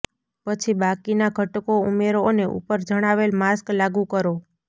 પછી બાકીના ઘટકો ઉમેરો અને ઉપર જણાવેલ માસ્ક લાગુ કરો